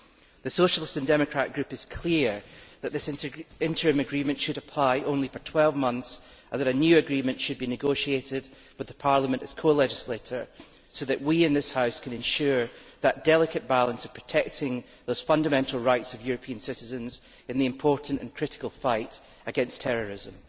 The Socialist and Democrat Group is clear that this interim agreement should apply only for 12 months and that a new agreement should be negotiated with Parliament as co legislator so that we in this House can ensure that delicate balance of protecting the fundamental rights of European citizens in the important and critical fight against terrorism.